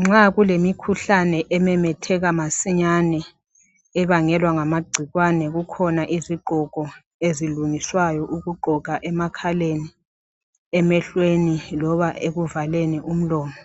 Nxa kulemikhuhlane ememetheka masinyane ebangelwa ngamagcikwane kukhona izigqoko ezilungiswayo ukugqoka emakhaleni emehlweni loba ukuvaleni umlomo.